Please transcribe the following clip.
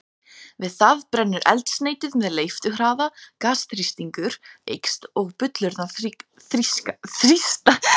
Við það brennur eldsneytið með leifturhraða, gasþrýstingur eykst og bullurnar þrýstast út af miklum krafti.